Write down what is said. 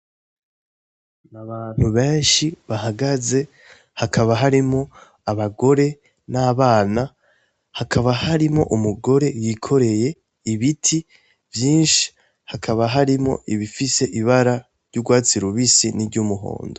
Abantu benshi bahagaze, hakaba harimwo abagore n'abana, hakaba harimwo umugore yikoreye ibiti vyinshi, hakaba harimwo ibifise ibara ry'urwatsi rubisi ni ry'umuhondo.